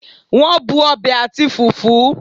Won bu obe ati fufu